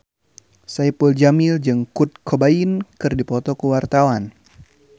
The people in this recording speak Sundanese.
Saipul Jamil jeung Kurt Cobain keur dipoto ku wartawan